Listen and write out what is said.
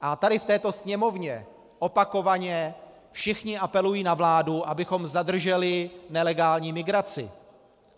A tady v této sněmovně opakovaně všichni apelují na vládu, abychom zadrželi nelegální migraci.